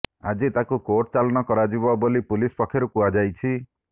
ଆଜି ତାକୁ କୋର୍ଟ ଚାଲାଣ କରାଯିବ ବୋଲି ପୁଲିସ ପକ୍ଷରୁ କୁହାଯାଇଛି